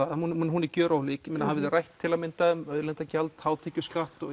hún hún er gjörólík hafið þið rætt til að mynda um auðlindagjald hátekjuskatt og